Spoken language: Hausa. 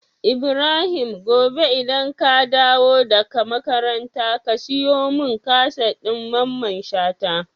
Ibrahim gobe idan ka dawo daka makaranta ka siyo mun kaset din mamman shata?